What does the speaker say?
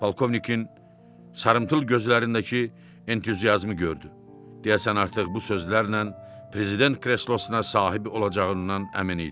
Polkovnikin sarımtıl gözlərindəki entuziazmı gördü, deyəsən artıq bu sözlərlə prezident kreslosuna sahib olacağından əmin idi.